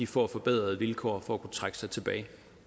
får forbedrede vilkår for at kunne trække sig tilbage det